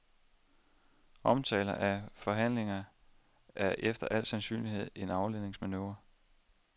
Omtalen af forhandlinger er efter al sandsynlighed en afledemanøvre.